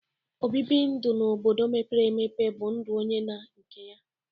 Obibi ndu n'obodo mepere emepe bụ ndu onye na nke ya.